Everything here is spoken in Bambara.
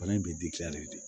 Fana in bɛ de